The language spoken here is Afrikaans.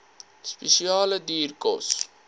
spesiale duur kos